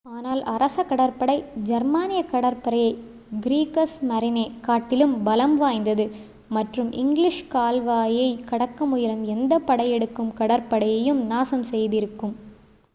"ஆனால் அரச கடற்படை ஜெர்மானிய கடற்படையைக் "க்ரீகஸ்மரீனே" காட்டிலும் பலம் வாய்ந்தது மற்றும் இங்கிலீஷ் கால்வாயைக் கடக்க முயலும் எந்த படையெடுக்கும் கடற்படையையும் நாசம் செய்திருக்கும்.